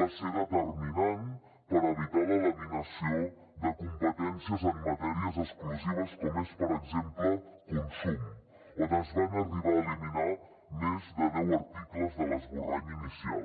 va ser determinant per evitar la laminació de competències en matèries exclusives com és per exemple consum on es van arribar a eliminar més de deu articles de l’esborrany inicial